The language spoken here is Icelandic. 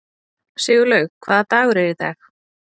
Sigurlaug, hvaða dagur er í dag?